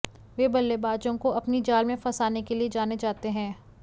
वो बल्लेबाजों को अपनी जाल में फंसाने के लिए जाने जाते हैं